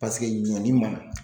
Paseke ɲɔni ma na.